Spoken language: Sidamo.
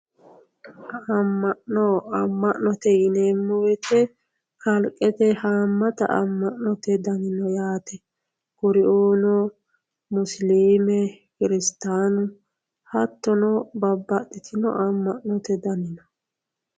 Ama'no, ama'note yineemmo woyte kalqete hamatta ama'note danni no, musilime kirstanu hattonno babbaxitino ama'note danni no.